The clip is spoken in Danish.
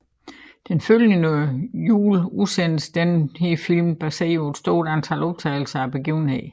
Den følgende jul udsendtes denne film baseret på et stort antal optagelser af begivenhederne